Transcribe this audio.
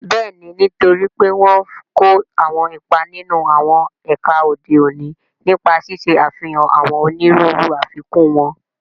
Bẹ́ẹ̀ni, nítorí pé wọ́n n kó àwọn ipa nínú àwọn ẹ̀ka òde òní, nípa ṣíṣe àfihàn àwọn onírúurú àfikún wọn